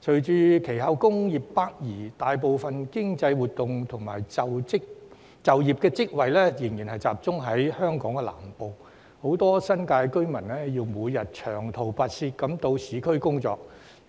隨後工業北移，大部分經濟活動及就業職位仍然集中在香港南部，很多新界居民要每天長途跋涉到市區工作，